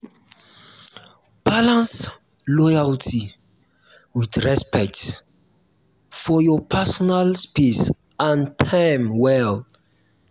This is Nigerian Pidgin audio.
balance loyalty with respect for your personal space and time well.